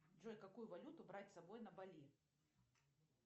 джой какую валюту брать с собой на бали